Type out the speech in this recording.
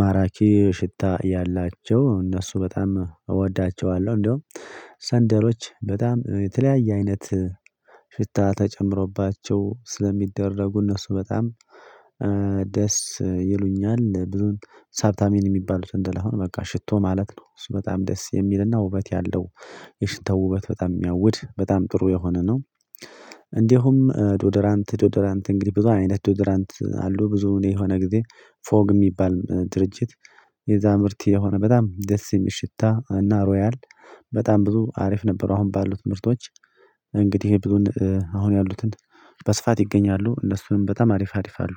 ማራኪ ሽታ ያላቸው እነሱ በጣም እወዳቸዋለሁ። እንደውም ሰንደሎች በጣም የተለያየ አይነት ሽታ ተጨምሮባቸው ስለሚደረጉ እነሱ በጣም ደስ ይሉኛል ብዙን ሳብታሚን የሚባለው ሰንደል አሁን በቃ ሽቶ ማለት ነው። እሱ በጣም ደስ የሚልና ውበት ያለው የሽታው ውበት በጣም የሚያውድ በጣም ጥሩ የሆነ ነው። እንዲሁም ዶደራንት ዶዶራንት እንግዲህ ብዙ አይነት ዶዶራንት አሉ። ብዙ እኔ የሆነ ጊዜ ፎግ የሚባል ድርጅት የዛ ምርት የሆነ በጣም ደስ የሚል ሽታ እና ሮያል በጣም ብዙ አሪፍ ነበሩ አሁን ባሉት ምርቶች እንግዲህ ይሄ ብዙም አሁን ያሉትን በስፋት ይገኛሉ። እነሱንም በጣማ አሪፋ አሪፋ አሉ።